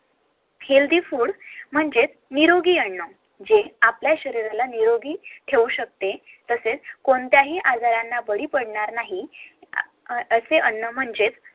HEALTHY FOOD म्हणजेच निरोगी अन्न आपल्या शरीराला निरोगी ठेऊ शकते तसेच कोणत्याही आजाराला बळी पडणार नाही असे अन्न म्हणजेच